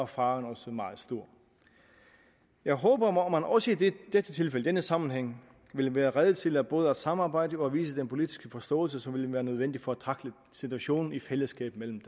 faren også meget stor jeg håber at man også i dette tilfælde i denne sammenhæng vil være rede til både at samarbejde og vise den politiske forståelse som vil være nødvendig for at tackle situationen i fællesskab mellem